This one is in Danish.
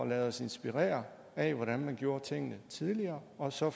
lade os inspirere af hvordan man gjorde tingene tidligere og så